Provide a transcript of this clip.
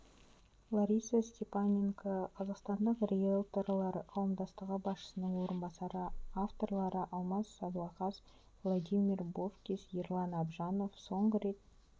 лариса степаненко қазақстандық риелторлар қауымдастығы басшысының орынбасары авторлары алмас садуақас владимир бовкис ерлан абжанов соңғы рет